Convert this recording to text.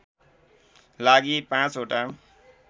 लागि ५ ओटा